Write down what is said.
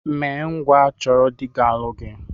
Mee ngwa chọrọ dị ga-alụ gị!